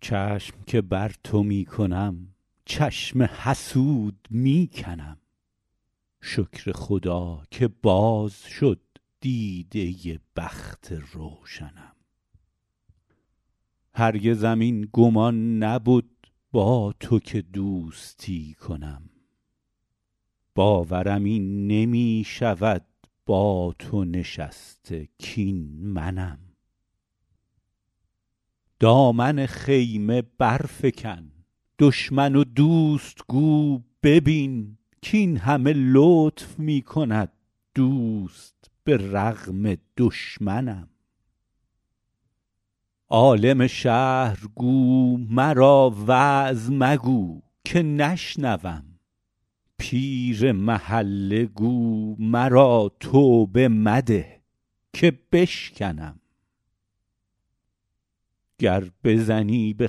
چشم که بر تو می کنم چشم حسود می کنم شکر خدا که باز شد دیده بخت روشنم هرگزم این گمان نبد با تو که دوستی کنم باورم این نمی شود با تو نشسته کاین منم دامن خیمه برفکن دشمن و دوست گو ببین کاین همه لطف می کند دوست به رغم دشمنم عالم شهر گو مرا وعظ مگو که نشنوم پیر محله گو مرا توبه مده که بشکنم گر بزنی به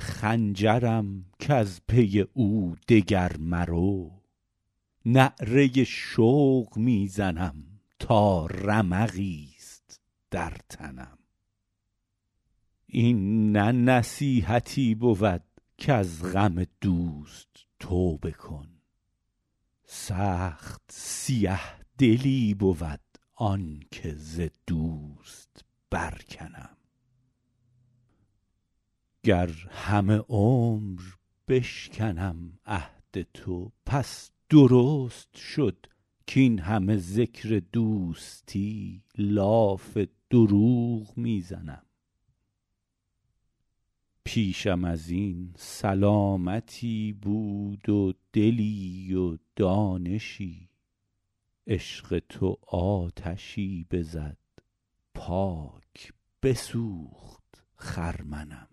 خنجرم کز پی او دگر مرو نعره شوق می زنم تا رمقی ست در تنم این نه نصیحتی بود کز غم دوست توبه کن سخت سیه دلی بود آن که ز دوست برکنم گر همه عمر بشکنم عهد تو پس درست شد کاین همه ذکر دوستی لاف دروغ می زنم پیشم از این سلامتی بود و دلی و دانشی عشق تو آتشی بزد پاک بسوخت خرمنم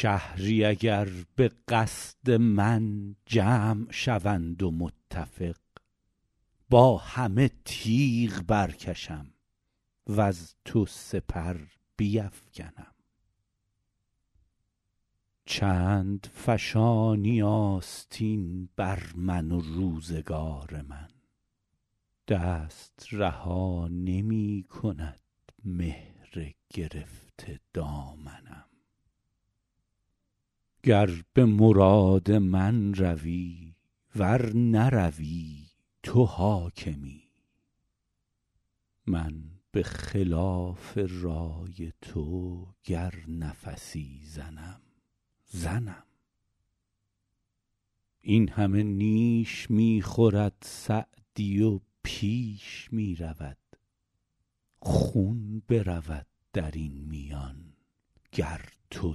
شهری اگر به قصد من جمع شوند و متفق با همه تیغ برکشم وز تو سپر بیفکنم چند فشانی آستین بر من و روزگار من دست رها نمی کند مهر گرفته دامنم گر به مراد من روی ور نروی تو حاکمی من به خلاف رای تو گر نفسی زنم زنم این همه نیش می خورد سعدی و پیش می رود خون برود در این میان گر تو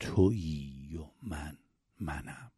تویی و من منم